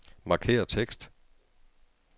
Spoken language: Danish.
Markér tekst.